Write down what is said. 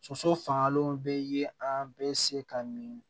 Soso fangalenw bɛ ye an bɛ se ka min